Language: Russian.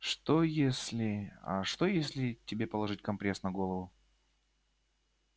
что если а что если тебе положить компресс на голову